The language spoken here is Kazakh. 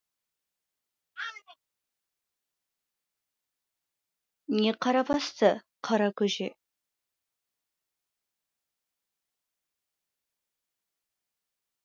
не қара басты қара көже